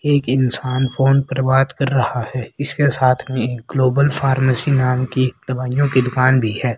एक इंसान फोन पर बात कर रहा है इसके साथ में ग्लोबल फॉर्मेसिंग नाम की एक दवाईयों की दुकान भी है।